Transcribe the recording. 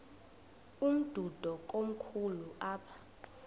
umdudo komkhulu apha